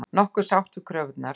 Nokkuð sáttur við kröfurnar